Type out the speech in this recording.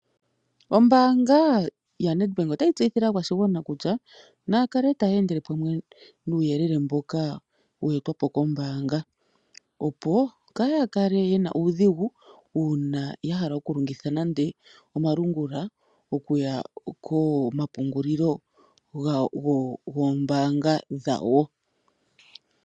Ombaanga ya NedBank otayi tseyithile aakwashigwana kutya naya kale taya endele pamwe nuuyelele mboka wa etwa po kombaanga, pponkaya kale yena uudhigu uuna ya hala okulongitha nande omalungula okuya komapungulilo goombanga dhawo.